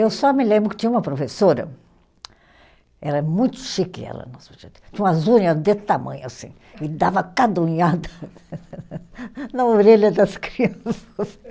Eu só me lembro que tinha uma professora, era muito chique ela, tinha umas unha desse tamanho assim, e dava cada unhada na orelha das crianças.